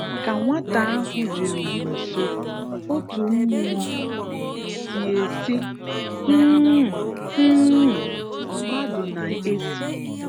Ka nwàtà ahụ̀ jèrùrù nso, otu mmụọ tíe sị, ‘Hụ-ụ-hụ-ụ, mmadụ na-esi’.